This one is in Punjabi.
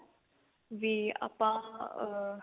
ਬੀ ਆਪਾਂ ah